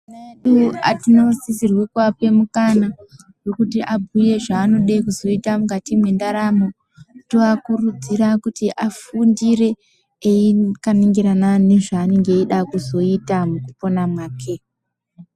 Ana edu tinosisirwa kuape mukana wekuti abhuye zvaanode kuzoita mwukati mwendaramo. Toakurudzira kuti afundire akaningirana nezvaanenge eida kuzoita mwukupona mwake.